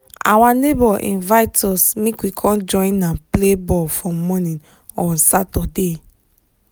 our neighbor invite us make we con join am play ball for morning on saturday